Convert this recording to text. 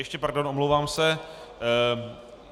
Ještě pardon, omlouvám se.